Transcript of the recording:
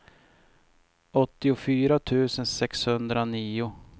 åttiofyra tusen sexhundranio